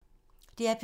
DR P2